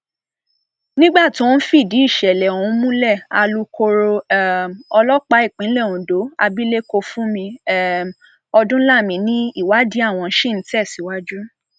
nígbà tó ń fìdí ìṣẹlẹ ọhún múlẹ alūkkoro um ọlọpàá ìpínlẹ ondo abilékọ fúnmi um ọdúnlami ni ìwádìí àwọn ṣì ń tẹsíwájú